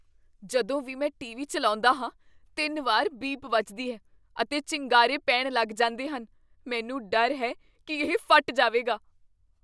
ਜਦੋਂ ਵੀ ਮੈਂ ਟੀਵੀ ਚੱਲਾਉਂਦਾ ਹਾਂ, ਤਿੰਨ ਵਾਰ ਬੀਪ ਵਜਦੀ ਹੈ ਅਤੇ ਚਿੰਗਾਰੇ ਪੈਣ ਲੱਗ ਜਾਂਦੇ ਹਨ । ਮੈਨੂੰ ਡਰ ਹੈ ਕੀ ਇਹ ਫਟ ਜਾਵੇਗਾ।